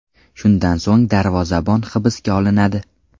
Shundan so‘ng darvozabon hibsga olinadi.